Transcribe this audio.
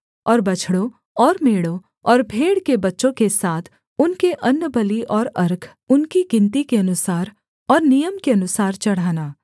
और बछड़ों और मेढ़ों और भेड़ के बच्चों के साथ उनके अन्नबलि और अर्घ उनकी गिनती के अनुसार और नियम के अनुसार चढ़ाना